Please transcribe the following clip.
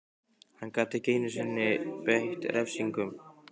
Hann gat ekki einu sinni beitt refsingum.